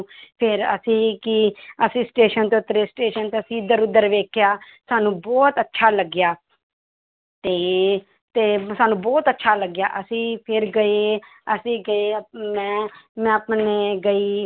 ਫਿਰ ਅਸੀਂ ਕੀ ਅਸੀਂ ਸਟੇਸ਼ਨ ਤੇ ਉੱਤਰੇ ਸਟੇਸ਼ਨ ਤੇ ਅਸੀਂ ਇੱਧਰ ਉੱਧਰ ਵੇਖਿਆ ਸਾਨੂੰ ਬਹੁਤ ਅੱਛਾ ਲੱਗਿਆ ਤੇ ਤੇ ਸਾਨੂੰ ਬਹੁਤ ਅੱਛਾ ਲੱਗਿਆ ਅਸੀਂ ਫਿਰ ਗਏ ਅਸੀਂ ਗਏ ਮੈਂ, ਮੈਂ ਆਪਣੇ ਗਈ,